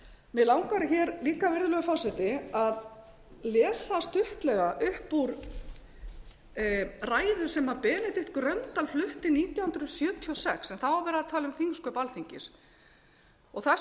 vinnubrögðum mig langar líka virðulegur forseti að lesa stuttlega upp úr ræðu sem benedikt gröndal flutti nítján hundruð sjötíu og sex en þá var verið að tala um þingsköp alþingi það er svo